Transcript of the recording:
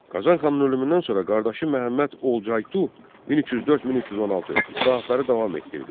Qazan xanın ölümündən sonra qardaşı Məhəmməd Olcaytu 1304-1316 islahatları davam etdirdi.